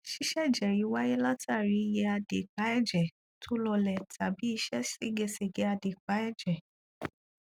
ṣíṣẹjẹ yìí wáyé látàrí iye adèépá ẹjẹ tó lọọlẹ tàbí ìṣe ségesège adèépá èjè